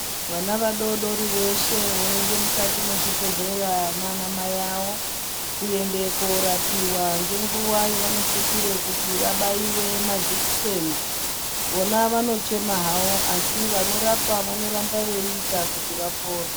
Vana vadodori veshe voende mukati mwezvibhedhlera nana mai avo. Kuende korapiva ngenguva yavanosisire kuti vabaive majekiseni. Vona vanochema havo asi vanorapa vanoramba veiita kuti vapone.